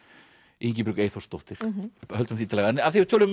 Ingibjörg Eyþórsdóttir höldum því til haga en af því við töluðum um